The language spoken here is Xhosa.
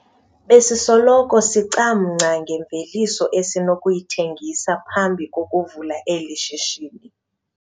Besisoloko sicamngca ngemveliso esinokuyithengisa phambi kokuvula eli shishini.